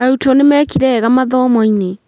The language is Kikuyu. Arutwo nĩmekire wega mathomo-inĩ